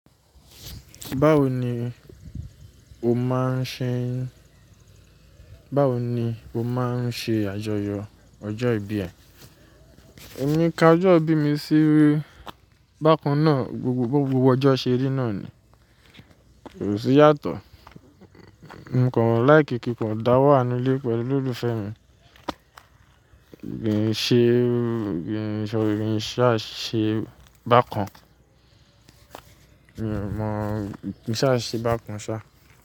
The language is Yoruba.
Báwo ni o máa ń ṣe, báwo ni o máa ń ṣe àjọyọ̀ ọjọ́ ìbí ẹ? Ë mi ká ọjọ́ ìbí mi sí bákan náà, gbogbo gbogbo ọjọ́ ṣeri náà ni, kò sí i yàtọ̀. Mokan láìkí kí kan dáwà nú ilé pẹ̀lú olólùfẹ́ mi. Gbin ìṣe, gbìn ìsọ, gbìn ṣá, ṣe bákan. Mi n o mọ̀, kìn ṣá, ṣe bákan ṣá.